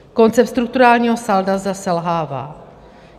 Koncept strukturálního salda zde selhává.